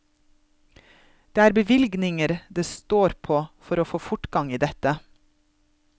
Det er bevilgninger det står på for å få fortgang i dette.